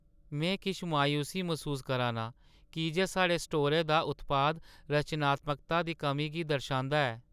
में किश मायूसी मसूस करा ना आं की जे साढ़े स्टोरै दा उत्पाद रचनात्मकता दी कमी गी दर्शांदा ऐ।